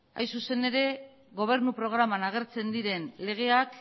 hain zuzen ere gobernu programan agertzen diren legeak